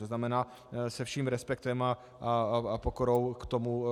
To znamená se vším respektem a pokorou k tomuto.